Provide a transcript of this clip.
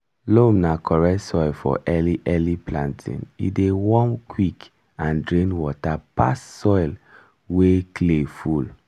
loam na correct soil for early early planting e dey warm quick and drain water pass soil wey clay full.